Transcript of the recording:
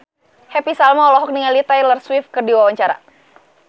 Happy Salma olohok ningali Taylor Swift keur diwawancara